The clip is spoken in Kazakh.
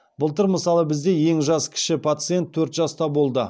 былтыр мысалы бізде ең жас кіші пациент төрт жаста болды